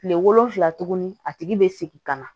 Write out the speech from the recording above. Kile wolonfila tuguni a tigi bɛ segin ka na